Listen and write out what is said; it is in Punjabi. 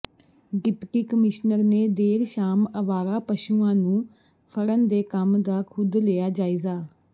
ਡਿਪਟੀ ਕਮਿਸ਼ਨਰ ਨੇ ਦੇਰ ਸ਼ਾਮ ਆਵਾਰਾ ਪਸ਼ੂਆਂ ਨੂੰ ਫੜਨ ਦੇ ਕੰਮ ਦਾ ਖੁਦ ਲਿਆ ਜਾਇਜ਼ਾ